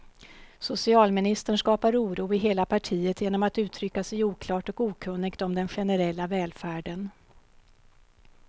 Socialministern skapar oro i hela partiet genom att uttrycka sig oklart och okunnigt om den generella välfärden.